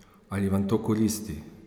Ali vam to koristi?